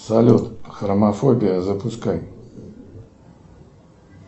салют хромофобия запускай